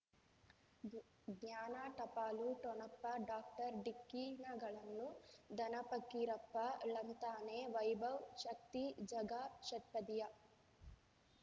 ಜ್ಞಾನ ಟಪಾಲು ಠೊಣಪ ಡಾಕ್ಟರ್ ಢಿಕ್ಕಿ ಣಗಳನು ಧನ ಫಕೀರಪ್ಪ ಳಂತಾನೆ ವೈಭವ್ ಶಕ್ತಿ ಝಗಾ ಷಟ್ಪದಿಯ